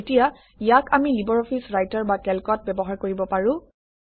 এতিয়া ইয়াক আমি লিবাৰঅফিছ ৰাইটাৰ বা কেল্কত ব্যৱহাৰ কৰিব পাৰোঁ